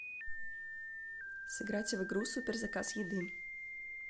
сыграть в игру супер заказ еды